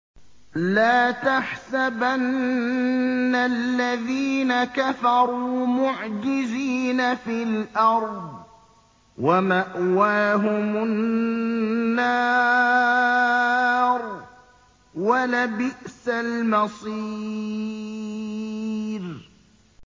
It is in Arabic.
لَا تَحْسَبَنَّ الَّذِينَ كَفَرُوا مُعْجِزِينَ فِي الْأَرْضِ ۚ وَمَأْوَاهُمُ النَّارُ ۖ وَلَبِئْسَ الْمَصِيرُ